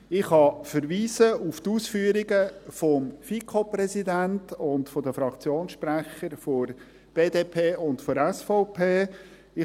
Ich kann auf die Ausführungen des FiKo-Präsidenten und der Fraktionssprecher der BDP und der SVP verweisen.